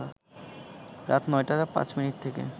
রাত ৯টা ৫ মিনিট থেকে